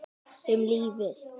Um lífið.